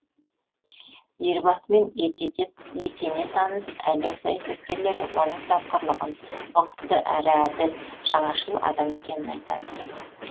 елбасымен етене таныс әлем саясаткерлері оның тапқырлығын ұқыпты әрі әділ жаңашыл адам екенін айтады